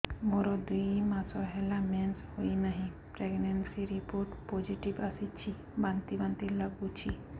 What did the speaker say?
ମୋର ଦୁଇ ମାସ ହେଲା ମେନ୍ସେସ ହୋଇନାହିଁ ପ୍ରେଗନେନସି ରିପୋର୍ଟ ପୋସିଟିଭ ଆସିଛି ବାନ୍ତି ବାନ୍ତି ଲଗୁଛି